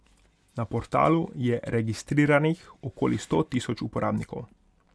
Na portalu je registriranih okoli sto tisoč uporabnikov.